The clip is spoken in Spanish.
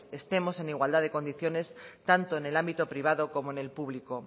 estemos en igualdad de condiciones tanto en el ámbito privado como en el público